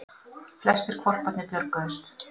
Flestir hvolparnir björguðust